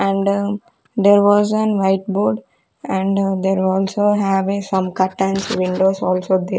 and there was an white board and there are also have a some cups and windows also there.